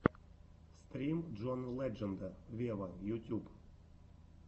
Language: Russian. стрим джона ледженда вево ютюб